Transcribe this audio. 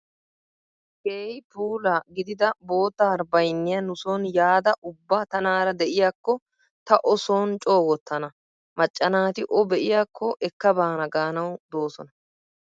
Keehi puula gidida bootta harbbayinniyaa nuson yaada ubba tanaara de'iyaakko ta o son coo wottana. Macca naati o be'iyaakko ekkabaana gaanawu doosona.